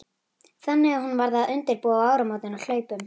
Þannig að hún varð að undirbúa áramótin á hlaupum.